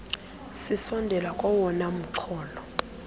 sisondela kowona mxholo